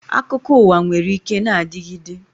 Akụkọ uwa nwere ike na-adigide.